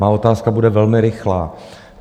Má otázka bude velmi rychlá.